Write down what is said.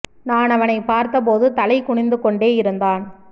நான் அவனைப் பார்த்த போது தலை குனிந்து கொண்டே இருந்தான்